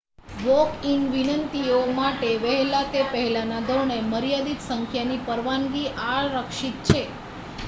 walk-in વિનંતીઓ માટે વહેલા તે પહેલાના ધોરણે મર્યાદિત સંખ્યાની પરવાનગી આરક્ષિત છે